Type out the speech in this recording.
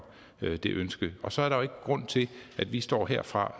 det ønske og så er der jo grund til at vi står herfra